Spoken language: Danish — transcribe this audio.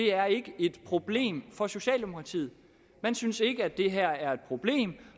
er et problem for socialdemokratiet man synes ikke det her er et problem